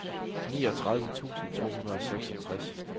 niogtredive tusind to hundrede og seksogtres